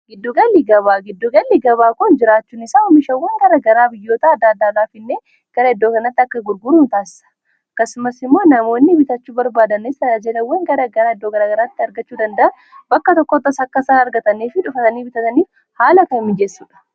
giddugalli gabaa giddugalli gabaa kun jiraachuun isaa omishawwan gara garaa biyyoota adda addaalaaf innee gara iddoo kanatti akka gurguru in taassa kasumas immoo namoonni bitachuu barbaadanis aaajalawwan gara garaa iddoo garaa garaatti argachuu dandaa bakka tokkotta sakkasaa argatanii fi dhufatanii bitataniif haala kan mijeessuudha